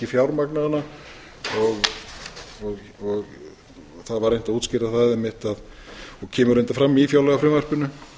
fjármagna hana það var reynt að útskýra það einmitt og kemur reyndar fram í fjárlagafrumvarpinu